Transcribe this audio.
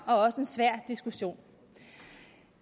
og også en svær diskussion